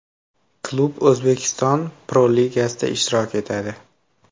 Klub O‘zbekiston Pro-Ligasida ishtirok etadi.